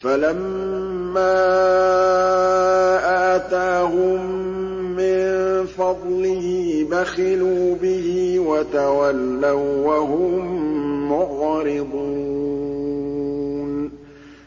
فَلَمَّا آتَاهُم مِّن فَضْلِهِ بَخِلُوا بِهِ وَتَوَلَّوا وَّهُم مُّعْرِضُونَ